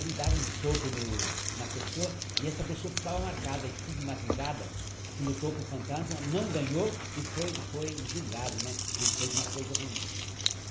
Ele dava um soco no na pessoa e essa pessoa ficava marcada, estigmatizada, que lutou com o fantasma, não ganhou e foi foi julgado né, que fez uma coisa ruim.